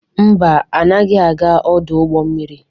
Mba, anaghị aga ọdụ ụgbọ mmiri.